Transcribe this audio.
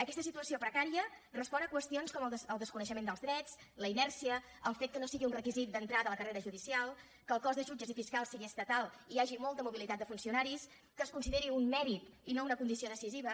aquesta situació precària respon a qüestions com el desconeixement dels drets la inèrcia el fet que no sigui un requisit d’entrada a la carrera judicial que el cos de jutges i fiscals sigui estatal i hi hagi molta mobilitat de funcionaris que es consideri un mèrit i no una condició decisiva